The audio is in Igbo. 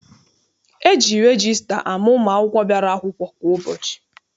E ji regista ama ụmụ akwụkwọ bịara akwụkwọ kwa ụbọchị.